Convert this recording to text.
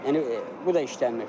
Yəni bu da işləmir.